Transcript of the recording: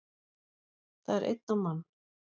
Það er einn á mann